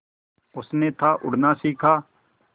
उसने था उड़ना सिखा